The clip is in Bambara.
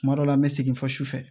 Kuma dɔ la an bɛ segin fɔ su fɛ